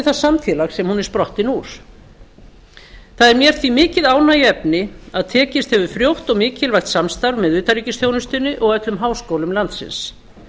það samfélag sem hún er sprottin úr það er mér því mikið ánægjuefni að tekist hefur frjótt og mikilvægt samstarf með utanríkisþjónustunni og öllum háskólum landsins